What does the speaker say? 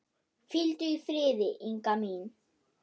Hvíldu í friði, Inga mín.